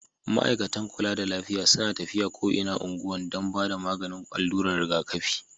Ma'aikatan kulla da lafiya suna tafiya ko inan ungwan dan ba da maganin alurar riga kafi.